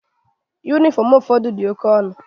Yunifọmu ụfọdụ dị oke ọnụ.